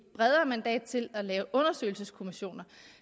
bredere mandat til at lave undersøgelseskommissioner